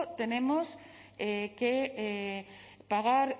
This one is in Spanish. tenemos que pagar